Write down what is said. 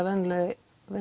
venjulegi